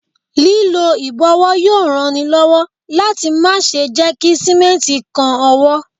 Lílọ ìbọ̀wọ́ yóò ran ni lọ́wọ́ láti má ṣe jẹ́ kí Símẹ́ǹtì kan ọwọ́.